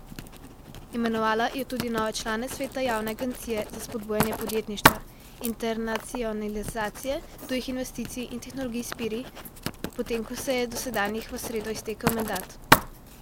Imenovala je tudi nove člane sveta javne agencije za spodbujanje podjetništva, internacionalizacije, tujih investicij in tehnologij Spirit, potem ko se je dosedanjim v sredo iztekel mandat.